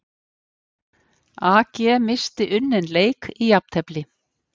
AG missti unninn leik í jafntefli